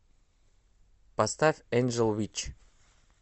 поставь энджел витч